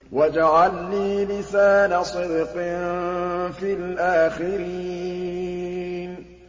وَاجْعَل لِّي لِسَانَ صِدْقٍ فِي الْآخِرِينَ